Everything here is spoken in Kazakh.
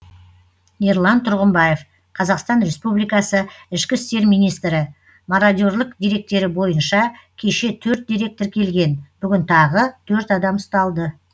ерлан тұрғымбаев қазақстан республикасы ішкі істер министрі мородерлік деректері бойынша кеше төрт дерек тіркелген бүгін тағы төрт адам ұсталды